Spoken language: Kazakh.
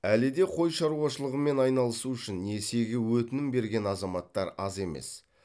әлі де қой шаруашылығымен айналысу үшін несиеге өтінім берген азаматтар аз емес